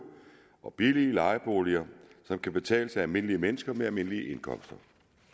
og billige lejeboliger som kan betales af almindelige mennesker med almindelige indkomster